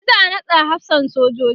shi za'a naɗa hafsan sojoji